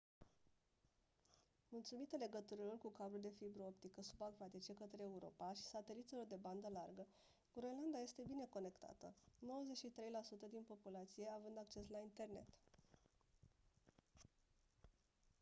mulțumită legăturilor cu cabluri de fibră optică subacvatice către europa și sateliților de bandă largă groenlanda este bine conectată 93% din populația având acces la internet